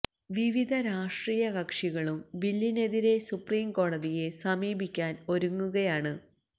വിവിധ രാഷ്ട്രീയ കക്ഷികളും ബില്ലിനെതിരെ സുപ്രീം കോടതിയെ സമീപിക്കാന് ഒരുങ്ങുകയാണ്